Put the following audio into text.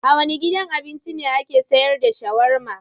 A wane gidan abincin ake sayar da shawarma?